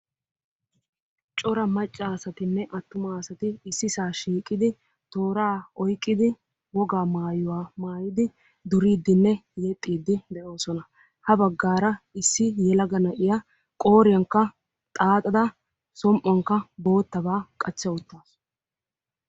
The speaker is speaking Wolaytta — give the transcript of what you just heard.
Cora macca asatinne attum asati issisaa shiiqidi tooraa oyqqidi wogaa maayuwaa maayidi duriidinne yexxiidi de'oosona. ha baggara issi yelaga na'iyaa qooriyankka xaaxada som"uwaankka boottabaa qachcha uttaasu.